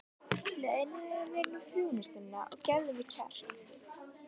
Launaðu mér nú þjónustuna og gefðu mér kjark!